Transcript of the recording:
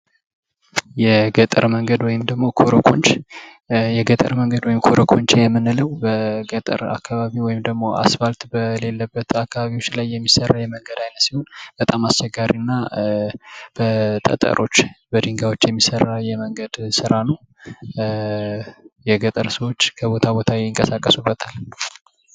የገጠር መንገድ ወይም ኮሮኮንች። የገጠር መንገድ ወይም ኮሮኮንች የምንለው በገጠር አካባቢ ወይም ደግሞ አስፋልት በሌለበት አካባቢ የሚሰራ የመንገድ አይነት ሲሆን በጣም አስቸጋሪ እና በጠጠሮች በድንጋዮች የሚሰራ የመንገድ ስራ ነው። የገጠር ሰዎች ከቦታ ቦታ ይንቀሳቀሱበታል።